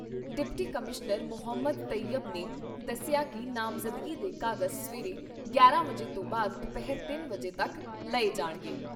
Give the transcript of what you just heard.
Deputy commissioner Mohammad Tayyab ਨੇ ਦੱਸਿਆ ਕਿ ਨਾਮਜ਼ਦਗੀ ਦੇ ਕਾਗਜ਼ ਸਵੇਰੇ ਗਿਆਰਾਂ ਵਜੇ ਤੋਂ ਬਾਅਦ ਦੁਪਹਿਰ ਤਿੰਨ ਵਜੇ ਤੱਕ ਲਏ ਜਾਣਗੇ।